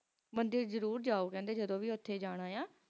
ਮੰਦਿਰ ਜ਼ਰੂਰ ਜੋ ਕਹਿੰਦੇ ਜੱਦੋ ਭੀ ਉਥੇ ਜਾਣਾ ਹੈ